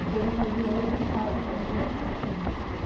E fez eu sair de noiva de casa para a vizinhança inteira ver.